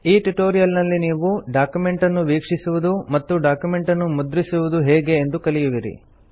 ಈ ಟ್ಯುಟೋರಿಯಲ್ ನಲ್ಲಿ ನೀವು ಡಾಕ್ಯುಮೆಂಟ್ ಅನ್ನು ವೀಕ್ಷಿಸುವುದು ಮತ್ತು ಡಾಕ್ಯುಮೆಂಟ್ ಅನ್ನು ಮುದ್ರಿಸುವುದು ಹೇಗೆ ಎಂದು ಕಲಿಯುವಿರಿ